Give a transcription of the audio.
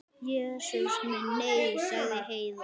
Jesús minn, nei, sagði Heiða.